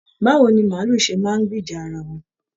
Báwo ni maálù ṣe máa n gbìjà ará wọn?